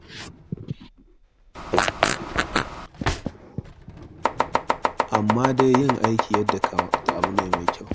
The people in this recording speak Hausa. Amma dai yin aiki yadda ya kamata abu ne mai kyau.